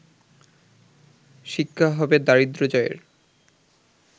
শিক্ষা হবে দারিদ্র জয়ের